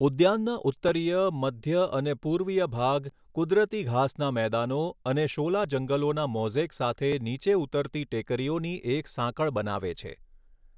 ઉદ્યાનના ઉત્તરીય, મધ્ય અને પૂર્વીય ભાગ કુદરતી ઘાસના મેદાનો અને શોલા જંગલોના મોઝેક સાથે નીચે ઉતરતી ટેકરીઓની એક સાંકળ બનાવે છે.